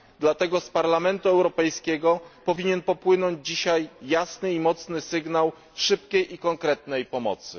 Dlatego z Parlamentu Europejskiego powinien popłynąć dzisiaj jasny i mocny sygnał szybkiej i konkretnej pomocy.